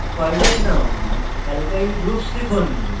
file name alkyl groups লিখুন